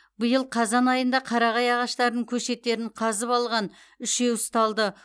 биыл қазан айында қарағай ағаштарының көшеттерін қазып алған үшеу ұсталды